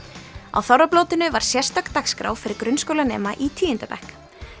á þorrablótinu var sérstök dagskrá fyrir grunnskólanema í tíunda bekk